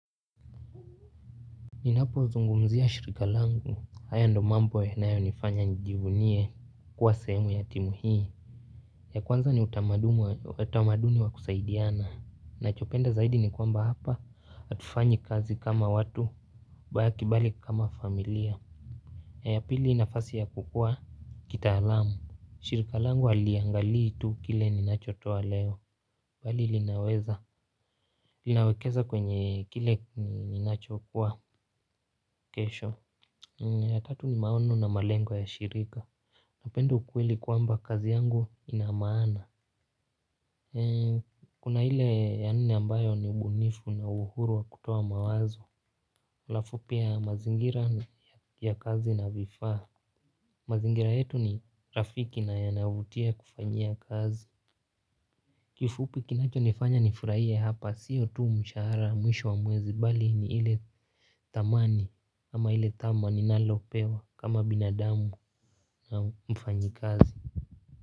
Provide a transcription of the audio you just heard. Ninapozungumzia shirika langu, haya ndiyo mambo yanayonifanya nijivunie kuwa sehemu ya timu hii. Ya kwanza ni utamaduni wa kusaidiana, ninachopenda zaidi ni kwamba hapa, hatufanyi kazi kama watu, bali kama familia na ya pili nafasi ya kukua kitaalamu, shirika langu haliangalii tu kile ninachotoa leo, bali linaweza linawekeza kwenye kile ninachokuwa kesho ya tatu ni maono na malengo ya shirika napenda ukweli kwamba kazi yangu ina maana. Kuna ile ya nne ambayo ni ubunifu na uhuru wa kutoa mawazo. Halafu pia mazingira ya kazi na vifaa. Mazingira yetu ni rafiki na yanavutia kufanyia kazi. Kifupi kinachonifanya nifurahie hapa siyo tu mshahara mwisho wa mwezi bali ni ile thamani ama ile thamani ninalopewa kama binadamu au mfanyikazi.